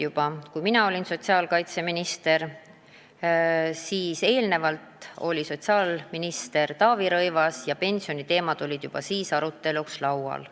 Juba enne seda, kui mina olin sotsiaalkaitseminister, tõi sotsiaalminister Taavi Rõivas pensioniteemad aruteluks lauale.